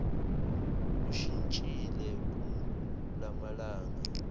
ushintshile kula malanga